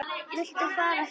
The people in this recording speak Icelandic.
Viltu fara frá!